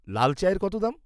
লাল চায়ের কত দাম?